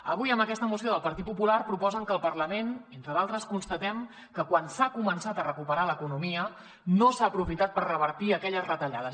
avui amb aquesta moció del partit popular proposen que al parlament entre d’altres constatem que quan s’ha començat a recuperar l’economia no s’ha aprofitat per revertir aquelles retallades